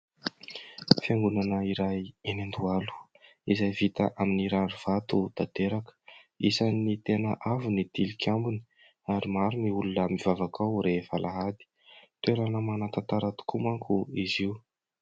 Fiangonana iray enỳ Andohalo izay vita amin'ny rari vato tanteraka. Isany tena avo ny tilikambony ary maro ny olona mivavaka ao rehefa alahady. Toerana manantantara tokoa manko izy io.